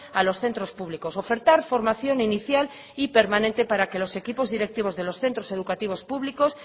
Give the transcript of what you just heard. a los centros públicos ofertar formación inicial y permanente para que los equipos directivos de los centros educativos públicos